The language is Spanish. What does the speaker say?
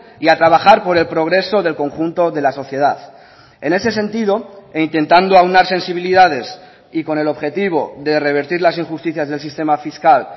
y a trabajar por el progreso del conjunto de la sociedad en ese sentido e intentando aunar sensibilidades y con el objetivo de revertir las injusticias del sistema fiscal